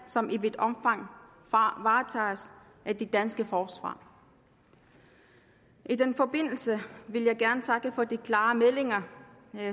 som i vidt omfang varetages af det danske forsvar i den forbindelse vil jeg gerne takke for de klare meldinger